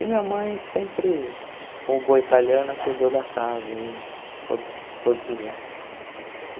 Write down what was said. E minha mãe sempre, como boa italiana, cuidou da casa e, todos todos esses anos.